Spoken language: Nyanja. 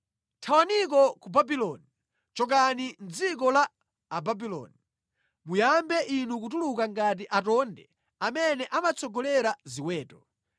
“Thawaniko ku Babuloni; chokani mʼdziko la Ababuloni. Muyambe inu kutuluka ngati atonde amene amatsogolera ziweto.